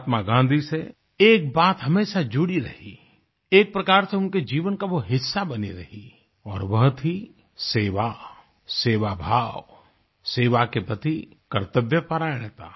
महात्मा गाँधी से एक बात हमेशा जुड़ी रही एक प्रकार से उनके जीवन का वो हिस्सा बनी रही और वह थी सेवा सेवाभाव सेवा के प्रति कर्तव्यपरायणता